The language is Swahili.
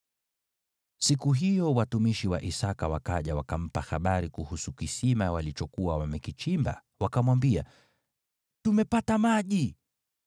Siku hiyo watumishi wa Isaki wakaja wakampa habari kuhusu kisima walichokuwa wamekichimba, wakamwambia, “Tumepata maji!”